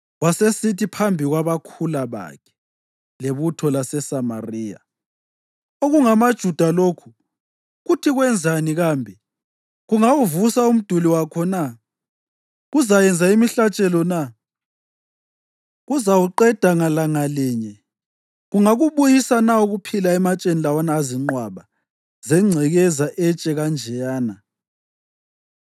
wasesithi phambi kwabakhula bakhe lebutho laseSamariya, “OkungamaJuda lokhu kuthi kwenzani kambe? Kungawuvusa umduli wakho na? Kuzayenza imihlatshelo na? Kuzawuqeda ngalanga linye? Kungakubuyisa na ukuphila ematsheni lawana azinqwaba zengcekeza etshe kanjeyana?”